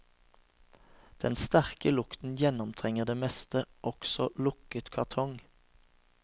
Den sterke lukten gjennomtrenger det meste, også lukket kartong.